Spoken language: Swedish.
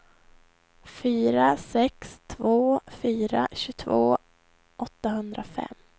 fyra sex två fyra tjugotvå åttahundrafem